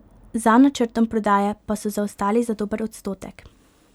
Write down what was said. Za načrtom prodaje pa so zaostali za dober odstotek.